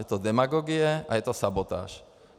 Je to demagogie a je to sabotáž.